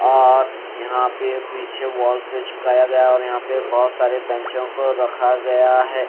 और यहां पे पीछे वॉल से चिपकाया गया और यहां पे बहुत सारे बेंचो को रखा गया है।